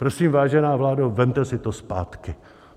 Prosím, vážená vládo, vezměte si to zpátky.